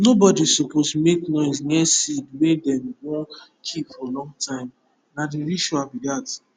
nobody suppose make noise near seed wey dem wun keep for long time na the ritual be that